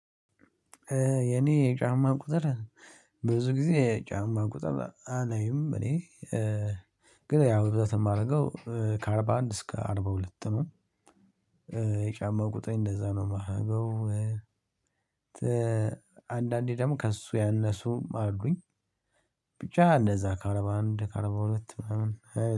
የኔ የጫማ ቁጥር ብዙ ጊዜ የጫማ ቁጥር አላይም እኔ። ግን ያው ብዛት የማደርገው ከአርባ አንድ እስከ አርባ ሁለት ነው። የጫማው ቁጠሬ እንደዛ ነው የማረገው። አንዳንዴ ደግሞ ከእሱ ያነሱም አሉኝ። ብቻ እንደዛ ከአርባ አንድ ከአርባ ሁለት ምናምን